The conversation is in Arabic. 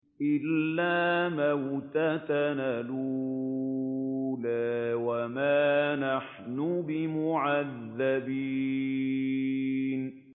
إِلَّا مَوْتَتَنَا الْأُولَىٰ وَمَا نَحْنُ بِمُعَذَّبِينَ